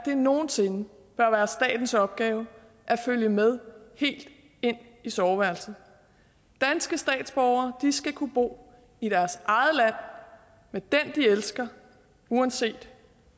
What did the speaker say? nogen sinde bør være statens opgave at følge med helt ind i soveværelset danske statsborgere skal kunne bo i deres eget land med den de elsker uanset